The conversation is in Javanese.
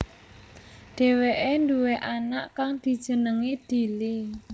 Dheweké duwé anak kang dijenengi Dili